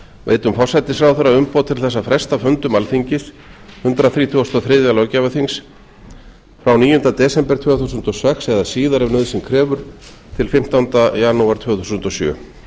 veitum forsætisráðherra umboð til þess að fresta fundum alþingis hundrað þrítugasta og þriðja löggjafarþings frá níunda desember tvö þúsund og sex eða síðar ef nauðsyn krefur til fimmtánda janúar tvö þúsund og sjö